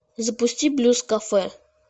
запусти блюз кафе